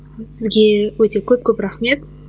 сізге өте көп көп рахмет